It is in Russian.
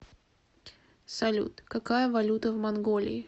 салют какая валюта в монголии